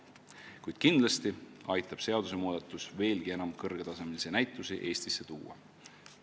Kuid kindlasti aitab seadusmuudatus veelgi enam kõrgetasemelisi näitusi Eestisse tuua.